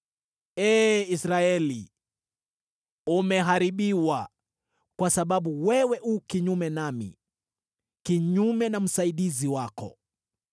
“Ee Israeli, umeangamizwa, kwa sababu wewe u kinyume nami, kinyume na msaidizi wako.